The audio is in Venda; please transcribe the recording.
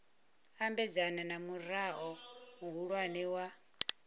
ambedzana na murao muhulwane wa